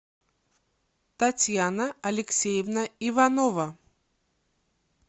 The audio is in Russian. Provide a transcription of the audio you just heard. татьяна алексеевна иванова